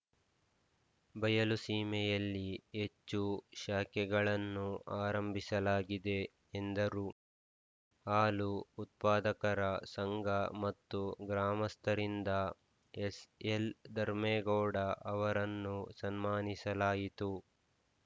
ಬಯಲುಸೀಮೆಯಲ್ಲಿ ಹೆಚ್ಚು ಶಾಖೆಗಳನ್ನು ಆರಂಭಿಸಲಾಗಿದೆ ಎಂದರು ಹಾಲು ಉತ್ಪಾದಕರ ಸಂಘ ಮತ್ತು ಗ್ರಾಮಸ್ಥರಿಂದ ಎಸ್‌ಎಲ್‌ ಧರ್ಮೇಗೌಡ ಅವರನ್ನು ಸನ್ಮಾನಿಸಲಾಯಿತು